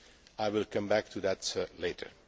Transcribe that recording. I will come back to that later.